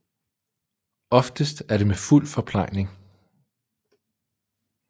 Oftest er det med fuld forplejning